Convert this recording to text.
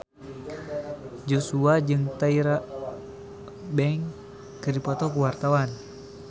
Joshua jeung Tyra Banks keur dipoto ku wartawan